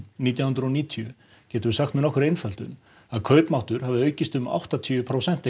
nítján hundruð og níutíu getum við sagt með nokkurri einföldun að kaupmáttur hafi aukist um áttatíu prósent